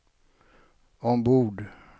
ombord